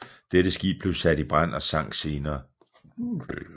Dette skib blev sat i brand og sank senere